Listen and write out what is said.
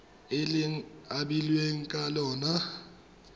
le e abilweng ka lona